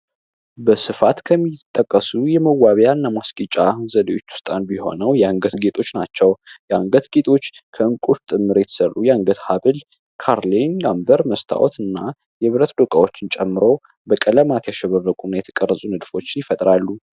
በስፋት ከሚጠቀሱ የሚዋቢያና የማጌጫዘዲዎች ውስጥ አንዱ የአንገት ሀብል ናቸው የአንገት ሀብል ጌጦች ከእንቁ የተሰሩ ጭምር የአንገት ሃብል ካርሊን ነምበር መስታወትና የብረት ዶቃዎችን ጨምሮ በቀለማት የተቀረጹና ያሸበረቁ ንድፎችን ይፈጥራሉ።